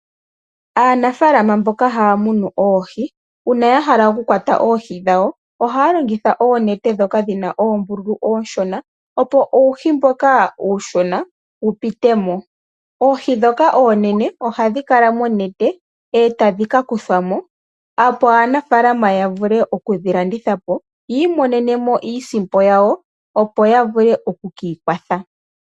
Aanafalama mboka haya munu oohi, uuna ya hala okukwata oohi dhawo, ohaya longitha oonete ndhoka dhi na oombululu oonshona, opo uuhi mboka uushona wu pite mo. Oohi ndhoka oonene hadhi kala monete e tadhi ka kuthwa mo, opo aanafaalama ya vule oku dhi landitha po yi imonene iisimpo yawo, opo ya vule oku ka ikwatha.